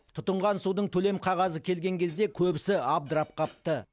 тұтынған судың төлем қағазы келген кезде көбісі абдырап қапты